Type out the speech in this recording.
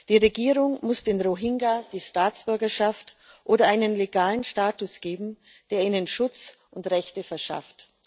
Die Regierung muss den Rohingya die Staatsbürgerschaft oder einen legalen Status geben, der ihnen Schutz und Rechte verschafft.